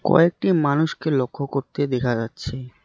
কয়েকটি মানুষকে লক্ষ্য করতে দেখা যাচ্ছে।